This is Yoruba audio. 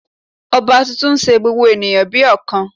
Ọba tuntun n se gbogbo ènìyàn bí ọ̀kan